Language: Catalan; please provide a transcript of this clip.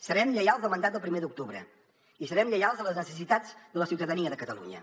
serem lleials al mandat del primer d’octubre i serem lleials a les necessitats de la ciutadania de catalunya